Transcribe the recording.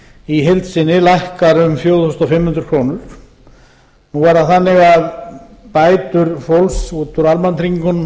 í heild sinni lækkar um fjögur þúsund fimm hundruð krónur nú er það þannig að bætur fólks út úr almannatryggingunum